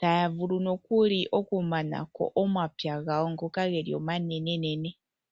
taya vulu nokuli okumanako omapya gawo ngoka geli omanenenene.